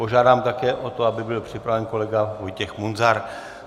Požádám také o to, aby byl připraven kolega Vojtěch Munzar.